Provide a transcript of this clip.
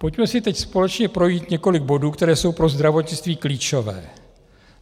Pojďme si teď společně projít několik bodů, které jsou pro zdravotnictví klíčové.